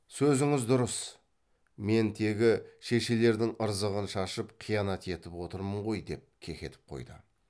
сөзіңіз дұрыс мен тегі шешелердің ырзығын шашып қиянат етіп отырмын ғой деп кекетіп қойды